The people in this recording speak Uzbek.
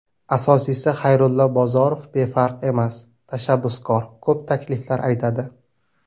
Asosiysi, Xayrullo Bozorov befarq emas, tashabbuskor, ko‘p takliflar aytadi.